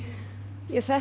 þetta